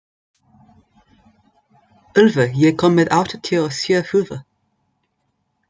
Úlfur, ég kom með áttatíu og sjö húfur!